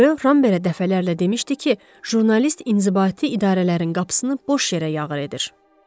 Röya Rambergə dəfələrlə demişdi ki, jurnalist inzibati idarələrin qapısını boş yerə döyür.